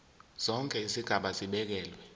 zonke izigaba zibekelwe